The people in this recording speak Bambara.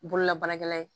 Bololabaarakɛla ye